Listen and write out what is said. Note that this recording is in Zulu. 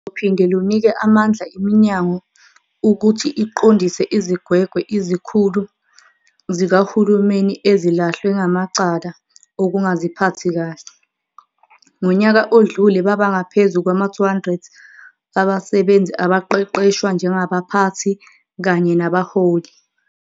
Luzophinde lunike amandla iminyango ukuthi iqondise izigwegwe izikhulu zikahulumeni ezilahlwe ngamacala okungaziphathi kahle. Ngonyaka odlule babangaphezu kwama-200 abasebenzi abaqeqeshwa njengabaphathi kanye nabaholi.